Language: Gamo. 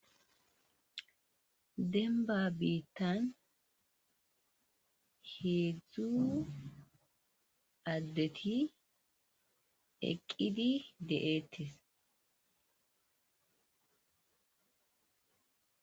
Dembba biitan hedzdzu addeti eqqidi de7eetes.